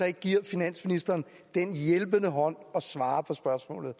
ikke giver finansministeren en hjælpende hånd og svarer på spørgsmålet